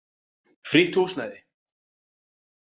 Frítt húsnæði.